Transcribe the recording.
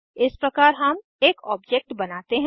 इस प्रकार हम एक ऑब्जेक्ट बनाते हैं